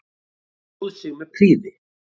Stóð sig með prýði.